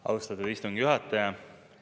Austatud istungi juhataja!